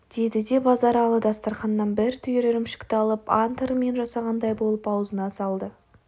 деді де базаралы дастарқаннан бір түйір ірімшікті алып ант ырымен жасағандай болып аузына салды